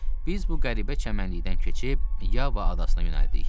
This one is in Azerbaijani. Biz bu qəribə çəmənlikdən keçib Yaba adasına yönəldik.